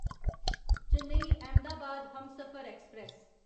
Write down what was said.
Chennai Ahmedabad Humsafar express